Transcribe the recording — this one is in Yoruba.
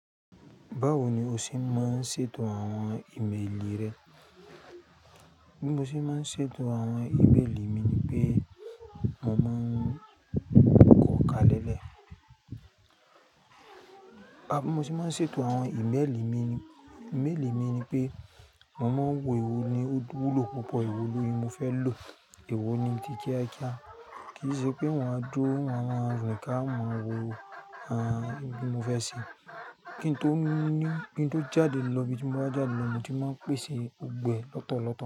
Báwo ni o ṣe máa ń ṣètò àwọn ìméèlì rẹ? Bí mo ṣe máa ń ṣètò àwọn ìméèlì mi ni pé, mo máa ń kọ̀ka lẹ́lẹ̀. Bí mo ṣe máa ń ṣètò àwọn ìméèlì mi, ìméèlì mi ni pé, mo máa ń wo èwo ni ó wúlò, púpọ̀ èwo lóyún mo fẹ́ lò, èwo ni tí kiakia. Kì í ṣe pé mo máa duró, mo máa rìn ká mo máa wo àwọn ohun tí mo fẹ́ ṣe. Kí n tó ní, kí n tó jáde lọ ibi tí mo bá jáde lọ, mo ti máa ń pèsè gbọ̀gbo ẹ lọ́tọ̀ọ̀tọ̀